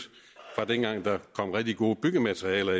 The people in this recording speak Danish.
dengang efter kom rigtig gode byggematerialer